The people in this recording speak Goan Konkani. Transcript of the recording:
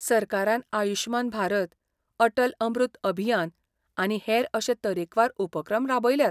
सरकारान आयुश्मान भारत, अटल अमृत अभियान आनी हेर अशे तरेकवार उपक्रम राबयल्यात.